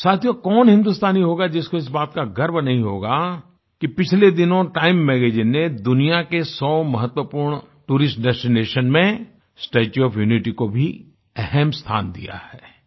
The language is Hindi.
साथियों कौन हिन्दुस्तानी होगा जिसको इस बात का गर्व नहीं होगा कि पिछले दिनों टाइम मैगज़ीन ने दुनिया के 100 महत्वपूर्ण टूरिस्ट डेस्टिनेशन में स्टेच्यू ओएफ यूनिटी को भी अहम् स्थान दिया है